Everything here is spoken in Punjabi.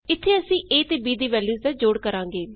ਇਥੇ ਅਸੀਂ a ਅਤੇ b ਦੀ ਵੈਲਯੂਸ ਦਾ ਜੋੜ ਕਰਾਂਗੇ